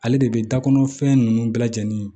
Ale de bɛ da kɔnɔ fɛn ninnu bɛɛ lajɛlen